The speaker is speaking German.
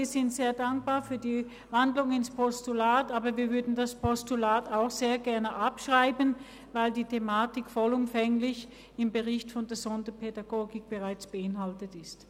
Wir sind sehr dankbar für die Umwandlung in ein Postulat, würden dann aber das Postulat gern gleich abschreiben, weil die Thematik im Bericht zur Sonderpädagogik bereits vollumfänglich abgehandelt ist.